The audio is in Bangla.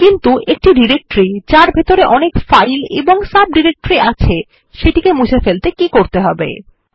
কিন্তু একটি ডিরেক্টরি যার ভেতরে অনেক ফাইল এবং সাবডিরেক্টরি আছে সেটিকে মুছে ফেলতে কী করতে হবে160